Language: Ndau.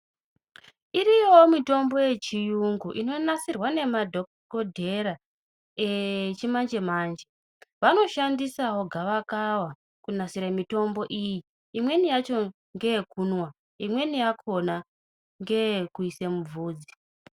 Iriyoo mitombo yechiyungu inonasirwa nemadhokodheya echimanje manje vanoshandisao gava kava kunasira mitombo iyi imweni yacho ndeyekumwa imweni yakona ndeyekuisa muvhudzi.